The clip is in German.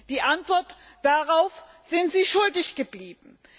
Die Antwort darauf sind Sie schuldig geblieben!